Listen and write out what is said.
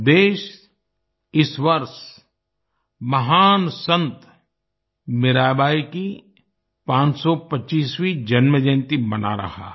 देश इस वर्ष महान संत मीराबाई की 525वीं जन्मजयंती मना रहा है